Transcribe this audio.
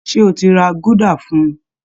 Ṣé o ti ra gúdà fún un?